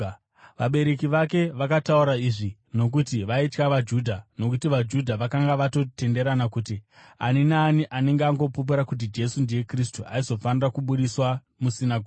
Vabereki vake vakataura izvi nokuti vaitya vaJudha, nokuti vaJudha vakanga vatotenderana kuti ani naani anenge angopupura kuti Jesu ndiye Kristu aizofanira kubudiswa musinagoge.